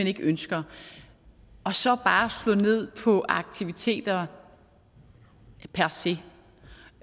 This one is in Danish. ikke ønsker og så bare slå ned på aktiviteter per se